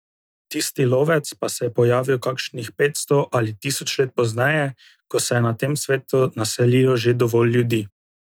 Tisti lovec pa se je pojavil kakšnih petsto ali tisoč let pozneje, ko se je na tem svetu naselilo že dovolj ljudi.